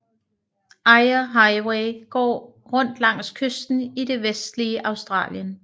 Eyre Highway går rundt langs kysten i det vestlige Australien